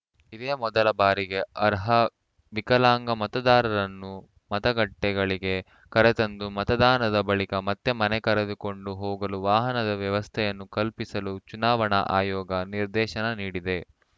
ಇದೇ ಮೊದಲ ಬಾರಿಗೆ ಅರ್ಹ ವಿಕಲಾಂಗ ಮತದಾರರನ್ನು ಮತಗಟ್ಟೆಗಳಿಗೆ ಕರೆತಂದು ಮತದಾನದ ಬಳಿಕ ಮತ್ತೆ ಮನೆಗೆ ಕರೆದುಕೊಂಡು ಹೋಗಲು ವಾಹನದ ವ್ಯವಸ್ಥೆಯನ್ನು ಕಲ್ಪಿಸಲು ಚುನಾವಣಾ ಆಯೋಗ ನಿರ್ದೇಶನ ನೀಡಿದೆ